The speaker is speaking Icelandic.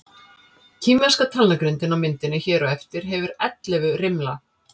Kínverska talnagrindin á myndinni hér á eftir hefur ellefu rimla.